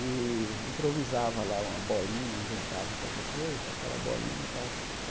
E improvisava lá uma bolinha, inventava qualquer coisa, aquela bolinha para.